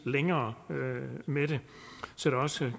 længere med det så der også